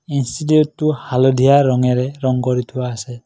ইনষ্টিটিউটটো হালধীয়া ৰঙেৰে ৰং কৰি থোৱা আছে।